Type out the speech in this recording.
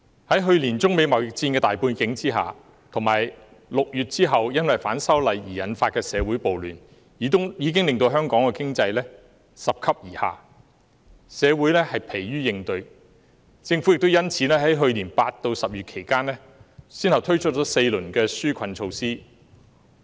在去年中美貿易戰的大背景下，以及6月後因為反修例事件而引發的社會暴亂，已經令香港的經濟拾級而下，社會疲於應對，因此政府在去年8月至10月期間，先後推出了4輪紓困措施。